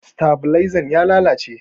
Stabalaizan ya lalace.